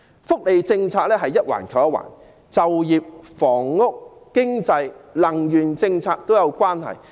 福利政策一環扣一環，就業、房屋、經濟、能源政策也是互相關連。